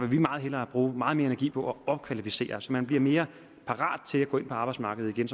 vil meget hellere bruge meget mere energi på at opkvalificere dem så man bliver mere parat til at gå ind på arbejdsmarkedet igen